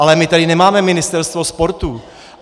Ale my tady nemáme Ministerstvo sportu.